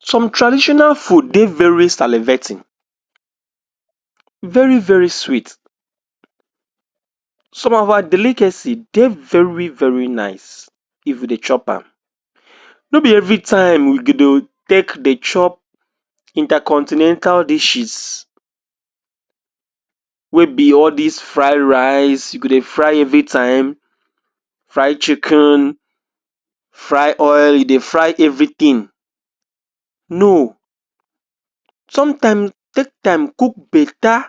some traditional food dey very salivating very-very sweet some of our delicacy dey very-very nice if we dey chopam no be every time you go dey chop intercontinental dishes wey be all dis fried rice you go dey fry every time fry chicken fry oil you dey fry everything no sometime, take time cook beta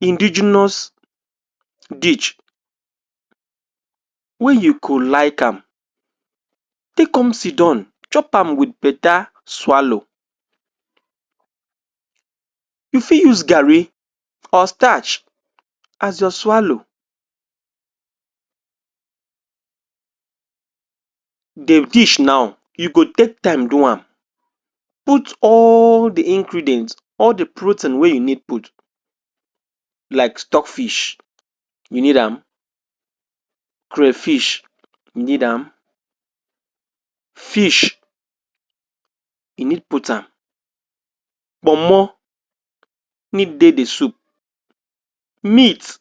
indigenious dish wey you go like am take come sidon chopam with beta swalow you fit use garri or starch as your swalow de dish now you go take time do am put all the ingredient all the protein wey e need put like stockfish you need am crayfish you need am fish e need putam kpomo need dey the soup meat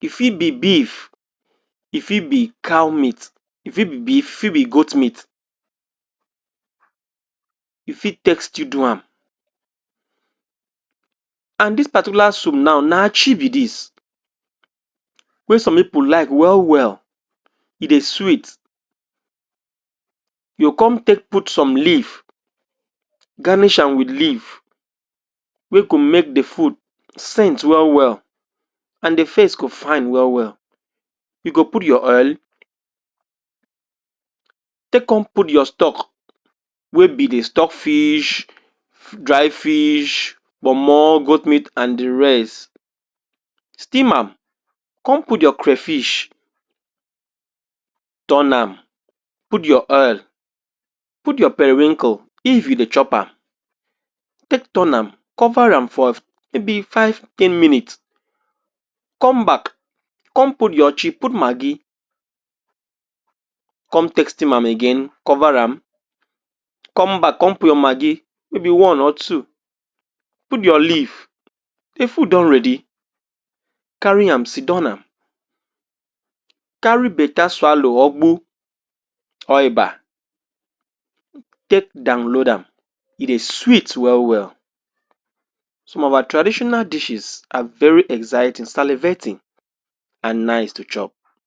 e fit be beef e fit be cow meat e fit be beef e fit be goat meet e fit take still do am and dis particular soup now na achi be dis wey some people like wel-well e dey sweet you come take put some leaf ganish am with leaf wey go make the food scent we-well, and the face go fine we-well, e go put your oil take come put your stock wey be the stockfish dry fish, kpomo, goat meat and the rest steam am come put your crayfish turnam put your oil put your perewinkle if you dey chopam take turn am cover am for may be five- ten minute come back come put you chi put maggi come take steam am again cover am come back come put your maggi may be one or two put your leaf the food don ready carry am sidon am carry beta swalow or gbo or eba take download am e dey sweet well-well some of our traditonal dishes are very exciting, salivating and nice to chop